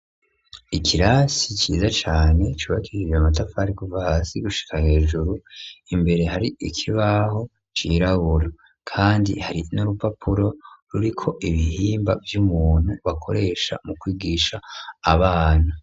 Ikirasi ciza cane cubakirire matafari guva hasi gushika hejuru imbere hari ikibaho cirabura kandi hari n'urupapuro ruri ko ibihimba vy'umuntu bakoresha mu kwigisha abanu.